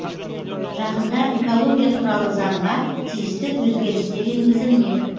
жақында экология туралы заңға тиісті өзгерістер енгізілмек